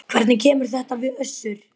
Hvernig kemur þetta við Össur?